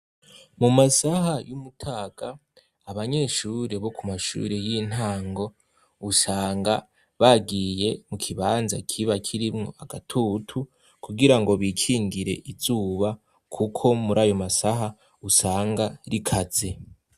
Mu masaha y'umutaga abanyeshuri bo ku mashuri y'intango usanga bagiye mu kibanza kiba kirimwo agatutu kugira ngo bikingire izuba, kuko muri ayo masaha usanga rikaze.